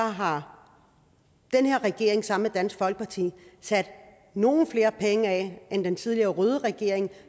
har den her regering sammen dansk folkeparti sat nogle flere penge af end den tidligere røde regering